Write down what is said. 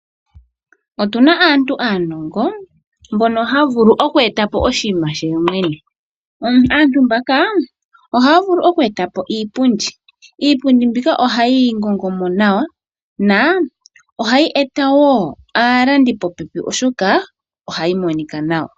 Otuna aantu aanongo mbono ha vulu okweeta po oshinima she yemwene. Aantu mbaka ohaya vulu okweeta po iipundi . Iipundi mbika ohaye yi ngongo mo nawa na ohayi eta wo aalandi popepi oshoka ohayi monika nawa.